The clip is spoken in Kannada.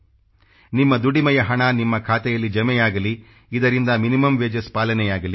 ನಿಮ್ಮ ದುಡಿಮೆಯ ಹಣ ನಿಮ್ಮ ಖಾತೆಯಲ್ಲಿ ಜಮೆಯಾಗಲಿ ಇದರಿಂದ ಮಿನಿಮಮ್ ವೇಜಸ್ ಪಾಲನೆಯಾಗಲಿ